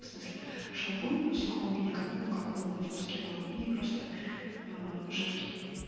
в смысле шампунь в сухом виде как ну как мыло в куске мыла и просто жидкий